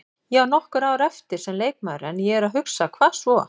Ég á nokkur ár eftir sem leikmaður en ég er að hugsa, hvað svo?